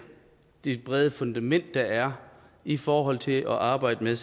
det brede fundament der er i forhold til at arbejde